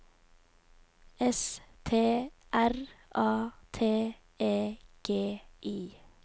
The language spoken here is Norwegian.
S T R A T E G I